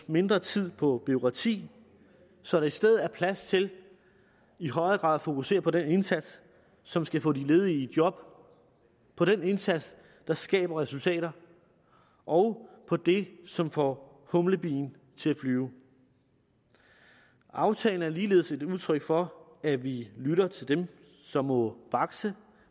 mindre tid på bureaukrati så der i stedet er plads til i højere grad at fokusere på den indsats som skal få de ledige i job på den indsats der skaber resultater og på det som får humlebien til at flyve aftalen er ligeledes udtryk for at vi lytter til dem som må bakse